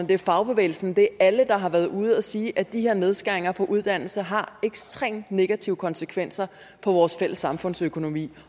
det er fagbevægelsen det er alle der har været ude at sige at de her nedskæringer på uddannelse har ekstremt negative konsekvenser for vores fælles samfundsøkonomi